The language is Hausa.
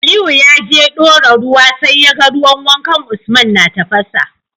Aliyu yaje dora ruwa sai yaga ruwan wankan usman na tafasa